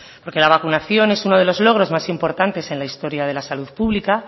porque la vacunación es uno de los logros más importantes en la historia de la salud pública